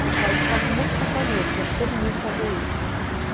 ficava com um monte de sacolinhas, porque acho que todo mundo fazia isso.